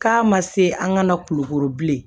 K'a ma se an ka na kulukoro bilen